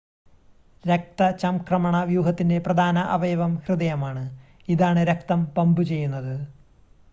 രക്തചംക്രമണ വ്യൂഹത്തിൻ്റെ പ്രധാന അവയവം ഹൃദയമാണ് ഇതാണ് രക്തം പമ്പ് ചെയ്യുന്നത്